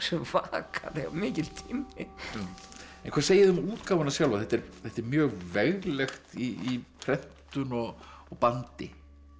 svakalega mikill tími en hvað segið þið um útgáfuna sjálfa þetta er þetta er mjög veglegt í prentun og og bandi